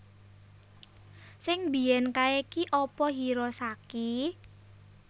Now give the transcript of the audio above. Sing mbiyen kae ki apa Hirosaki?